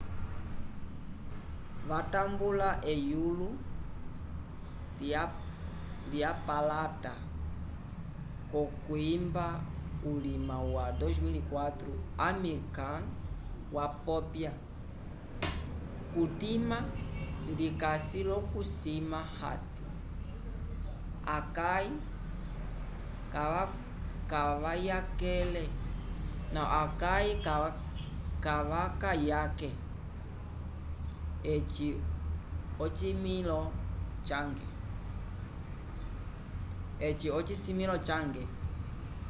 watambula eyulo lypalata v'okwimba ulima wa 2004 amir khan wapopya kutima ndikasi l'okusima hati akãi kavakayake eyi ocisimĩlo cange